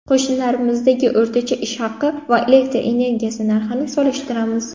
Qo‘shnilarimizdagi o‘rtacha ish haqi va elektr energiyasi narxini solishtiramiz.